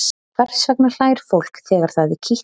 hvers vegna hlær fólk þegar það er kitlað